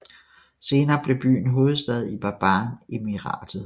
Senere blev byen hovedstad i Baban Emiratet